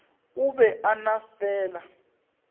o be a no fela